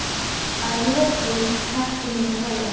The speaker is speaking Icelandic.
Að lokum hætti hún að hlæja.